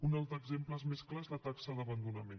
un altre exemple més clar és la taxa d’abandonament